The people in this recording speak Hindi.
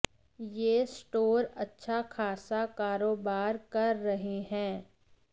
ये स्टोर अच्छा खासा करोबार कर रहे हैं